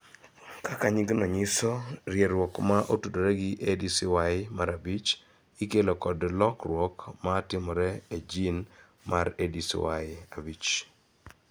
Kaka nyingno nyiso, rieruok ma otudore gi ADCY5 ikelo kod lokruok (lokruok) ma timore e jin mar ADCY5.